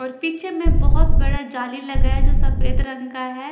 और पीछे में बहुत बड़ा जाली लगाया जो सफेद रंग का है।